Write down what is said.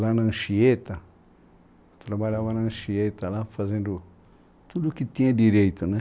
Lá na Anchieta, trabalhava na Anchieta, lá fazendo tudo que tinha direito, né?